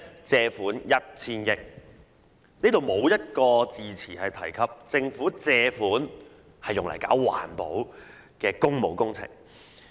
借入 $1000 億"，無一字詞提及借款是用來進行環保的工務工程。